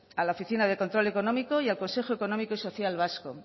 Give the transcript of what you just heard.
a la oficina de control económico y al consejo económico y social vasco